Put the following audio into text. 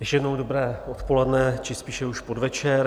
Ještě jednou dobré odpoledne či spíše už podvečer.